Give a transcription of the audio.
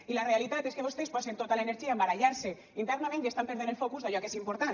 i la realitat és que vostès posen tota l’energia a barallar se internament i estan perdent el focus d’allò que és important